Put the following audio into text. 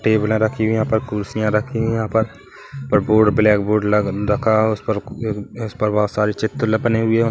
टेबला रखी हुए है यहाँ पर ख़ुर्शी रखी हुइ यहाँ पर बोर्ड ब्लैक ब्लैक बोर्ड लगा उस पर बोत सारी चित्र बनी हुई है।